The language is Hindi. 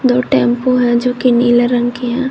दो टेंपो है जो की नीले रंग की है।